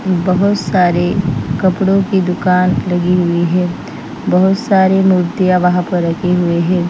बहुत सारे कपड़ों की दुकान लगी हुई है बहुत सारी मूर्तियां वहां पर रखि हुई हैं।